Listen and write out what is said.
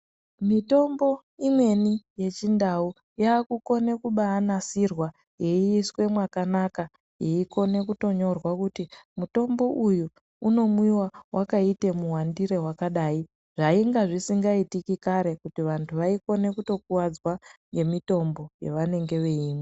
Mitombo imweni yechindau yakukone kubaanasirwa yeiiswe mwakanaka yeikone kuto yorwa kuti mutombo uyu unomwiwa wakaite muwandire wakadai zvainge zvisingaitiki karw kuti vantu vanokone kutokuwadzwa ngemitombo yavanenge veimwa.